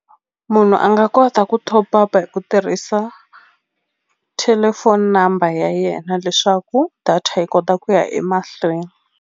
Munhu a nga kota ku top up hi ku tirhisa thelefoni number ya yena leswaku data yi kota ku ya emahlweni.